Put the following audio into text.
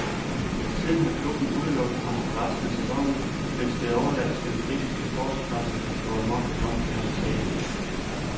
Siden har klubben udelukket ham for resten af sæsonen, mens det er overladt til den britiske sportspresse at gå amok i omtalen af sagen.